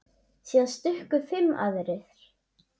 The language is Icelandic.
Síðan stukku fimm aðrir.